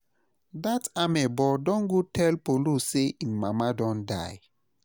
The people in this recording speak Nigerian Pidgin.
Dat amebo don go tell Paulo say im mama don die